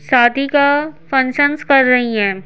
शादी का फंक्शंस कर रही हैं।